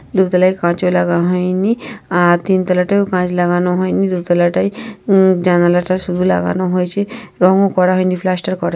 দোতালায় কাচ ও লাগা হয়নি আ তিন তালাটাও কাচ লাগানো হয়নি। দোতালাটায় উম জানালাটা শুধু লাগানো হয়েছে । রং ও করা হয়নি। প্লাস্টার করা --